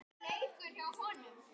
Hætta á leka?